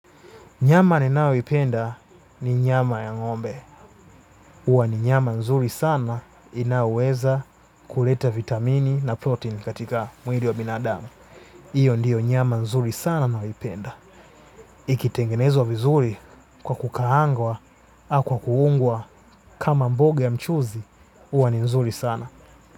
Nyama ninayoipenda ni nyama ya ngombe. Uwa ni nyama nzuri sana inaoweza kuleta vitamini na protein katika mwili wa binadamu. Iyo ndiyo nyama nzuri sana nayoipenda. Ikitengenezwa vizuri kwa kukaangwa au kwa kuungwa kama mboge ya mchuzi, uwa ni nzuri sana.